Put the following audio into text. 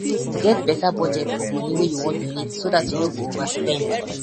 get better budget for money wey you wan donate so dat you no go overspend